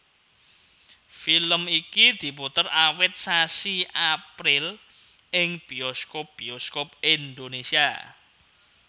Film iki diputer awit sasi April ing bioskop bioskop Indonesia